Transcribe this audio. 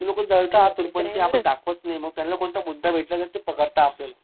ती लोकं जळता आतून पण ती आता दाखवत नी त्यांना कोणता मुद्दा भेटला नाही कि पकडता आपल्याला